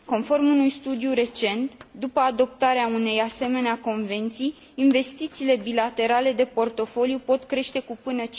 Conform unui studiu recent, după adoptarea unei asemenea convenții, investițiile bilaterale de portofoliu pot crește cu până